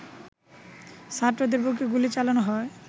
ছাত্রদের বুকে গুলি চালানো হয়